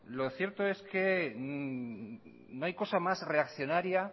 lo cierto es que no hay cosa más reaccionaria